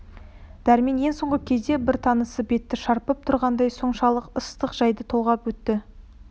дәрмен ең соңғы кезде бар тынысы бетті шарпып тұрғандай соншалық ыстық жайды толғап өтті